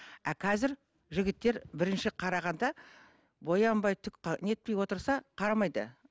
а қазір жігіттер бірінші қарағанда боянбай түк ы не етпей отырса қарамайды